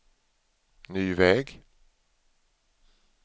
ny väg